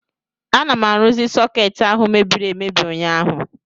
Ana m arụzi sọkeetị ahụ mebiri emebi ụnyaahụ